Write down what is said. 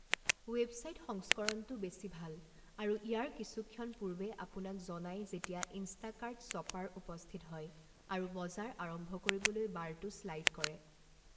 Website সংস্কৰণটো বেছি ভাল আৰু ইয়াৰ কিছুক্ষণ পূৰ্বে আপোনাক জনাই যেতিয়া ইনষ্টাকাৰ্ট শ্ব'পাৰ উপস্থিত হয় আৰু বজাৰ আৰম্ভ কৰিবলৈ বাৰটো শ্লাইড কৰে।